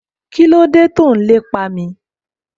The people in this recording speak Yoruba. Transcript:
Kíló dé tó n lépa mi?